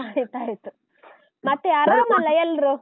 ಆಯ್ತು ಆಯ್ತು ಮತ್ತೆ ಅರಾಮ್ ಅಲಾ ಎಲ್ರು.